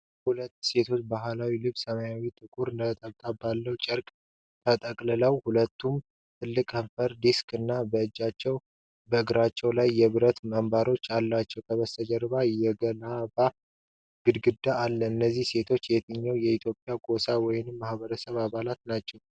ሁለት ሴቶች በባህላዊ ልብስ፣ ሰማያዊና ጥቁር ነጠብጣቦች ባሉት ጨርቅ ተጠቅልለዋል። ሁለቱም ትልልቅ የከንፈር ዲስክ እና በእጆቻቸውና በእግራቸው ላይ የብረት አምባሮች አላቸው። ከበስተጀርባው የገለባ ግድግዳ አለ። እነዚህ ሴቶች የየትኛው የኢትዮጵያ ጎሳ ወይም ማኅበረሰብ አባላት ናቸው?